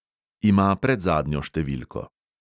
Ima predzadnjo številko.